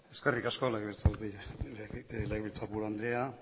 eskerrik asko legebiltzarburu andrea